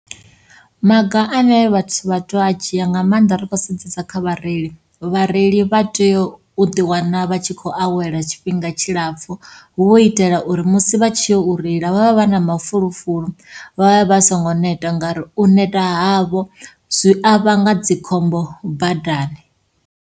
Maga ane vhathu vha to a dzhia nga maanḓa ri kho sedzesa kha vhareili, vhareili vha tea u ḓiwana vha tshi kho awela tshifhinga tshilapfhu. Ho itela uri musi vha tshi yo u reila vha vha vha na mafulufulo vha vha vha songo neta ngauri u neta havho zwi a vhanga dzikhombo badani.